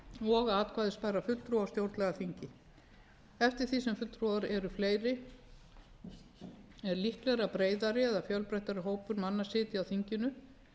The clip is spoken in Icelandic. og atkvæðisbærra fulltrúa á stjórnlagaþinginu eftir því sem fulltrúar eru fleiri er líklegra að breiðari eða fjölbreyttari hópur manna sitji á þinginu